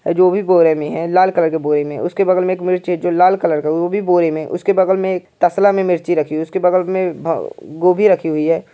है जो भी बोरे में है। लाल कलर के बोरे में है। उसके बगल में एक मिर्ची है जो लाल कलर का है वो भी बोरे में है। उसके बगल एक तसला में मिर्ची रखी हुई है उसके बगल भ गोभी रखी हुई है।